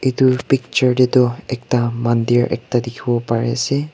edu picture tae tu ekta mandir ekta dikhi wo pariase.